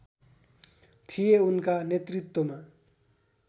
थिए उनका नेतृत्वमा